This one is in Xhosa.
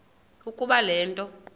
ukuba le nto